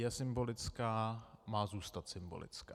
Je symbolická, má zůstat symbolická.